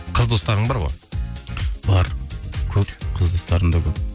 қыз достарың бар ғой бар көп қыз достарым да көп